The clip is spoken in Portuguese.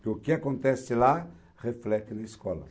Porque o que acontece lá, reflete na escola.